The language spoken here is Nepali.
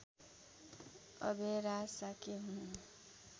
अभयराज शाक्य हुन्